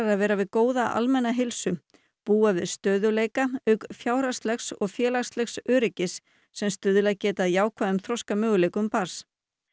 að vera við góða almenna heilsu búa við stöðugleika auk fjárhagslegs og félagslegs öryggis sem stuðlað geti að jákvæðum þroskamöguleikum barns